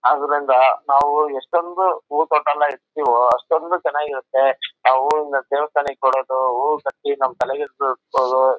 ಅದ್ರಿಂದ ನಾವು ಎಷ್ಟೊಂದು ಹೂವು ತೊಟ ಎಲ್ಲ ಇರ್ತವೋ ಅಷ್ಟೊಂದು ಚೆನ್ನಾಗಿರುತ್ತೆ ನಾವು ಹಿಂಗ್ ದೇವಸ್ಥಾನ ಕೊಡೋದು ಹೂವು ಕಟ್ಟಿ ನಮ ತಲೆಗೆ ಸುತ್ಕೊಳೋದು--